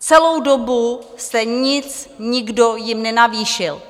Celou dobu jste jim nikdo nic nenavýšil.